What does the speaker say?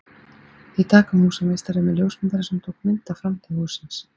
Í dag kom húsameistari með ljósmyndara sem tók mynd af framhlið hússins.